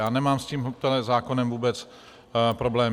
Já nemám s tímto zákonem vůbec problém.